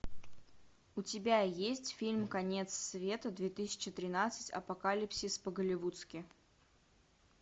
у тебя есть фильм конец света две тысячи тринадцать апокалипсис по голливудски